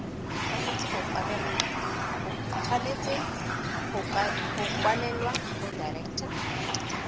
tshwanetse go kwalelwa go director